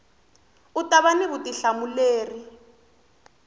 u ta va na vutihlamuleri